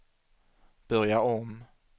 börja om